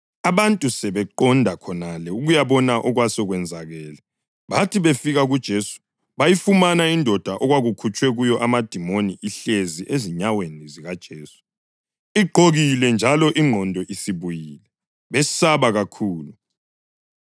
abantu basebeqonda khonale ukuyabona okwasekwenzakele. Bathi befika kuJesu bayifumana indoda okwakukhutshwe kuyo amadimoni ihlezi ezinyaweni zikaJesu, igqokile njalo ingqondo isibuyile; besaba kakhulu.